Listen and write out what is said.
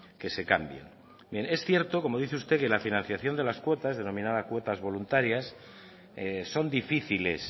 que se cambien es cierto como dice usted que la financiación de las cuotas denominadas cuotas voluntarias son difíciles